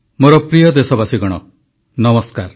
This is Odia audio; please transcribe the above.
ମୋର ପ୍ରିୟ ଦେଶବାସୀଗଣ ନମସ୍କାର